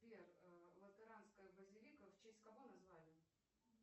сбер латеранская базилика в честь кого назвали